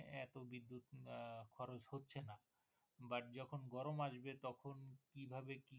গরম আসবে তখন কি ভাবে কিভাবে?